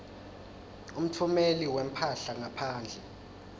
umtfumeli wemphahla ngaphandle